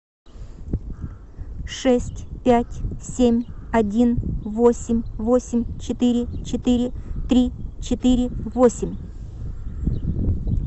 шесть пять семь один восемь восемь четыре четыре три четыре восемь